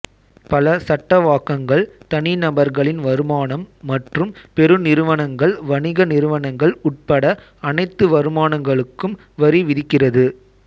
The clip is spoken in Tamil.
பல சட்டவாக்கங்கள் தனிநபர்களின் வருமானம் மற்றும் பெருநிறுவனங்கள் வணிக நிறுவனங்கள் உட்பட அனைத்து வருமானங்களுக்கும் வரி விதிக்கிறது